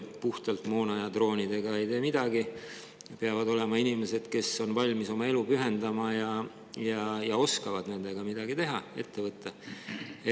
Puhtalt moona ja droonidega ei tee midagi – peavad olema inimesed, kes on valmis oma elu pühendama ja oskavad nendega midagi teha, ette võtta.